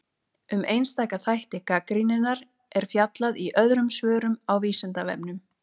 Um einstaka þætti gagnrýninnar er fjallað í öðrum svörum á Vísindavefnum.